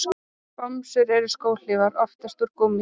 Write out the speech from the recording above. Bomsur eru skóhlífar, oftast úr gúmmíi.